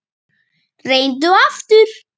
Reyndu aftur.